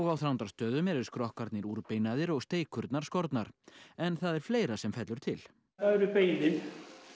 á Þrándarstöðum eru skrokkarnir úrbeinaðir og steikurnar skornar en það er fleira sem fellur til það eru beinin